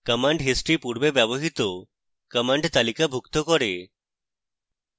command history পূর্বে ব্যবহৃত command তালিকাভুক্ত করে